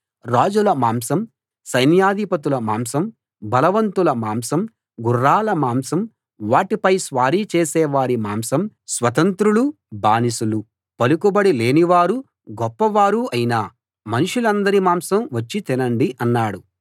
రాజుల మాంసం సైన్యాధిపతుల మాంసం బలవంతుల మాంసం గుర్రాల మాంసం వాటిపై స్వారీ చేసేవారి మాంసం స్వతంత్రులూ బానిసలూ పలుకుబడి లేనివారూ గొప్పవారూ అయిన మనుషులందరి మాంసం వచ్చి తినండి అన్నాడు